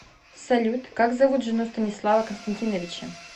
салют как зовут жену станислава константиновича